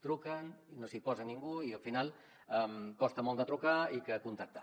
truquen i no s’hi posa ningú i al final costa molt de trucar i contactar